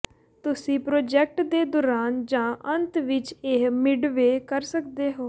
ਤੁਸੀਂ ਪ੍ਰਾਜੈਕਟ ਦੇ ਦੌਰਾਨ ਜਾਂ ਅੰਤ ਵਿੱਚ ਇਹ ਮਿਡਵੇਅ ਕਰ ਸਕਦੇ ਹੋ